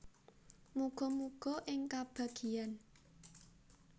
Muga muga ing kabagyan